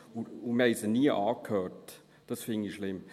Wir haben sie nie angehört, und das finde ich schlimm.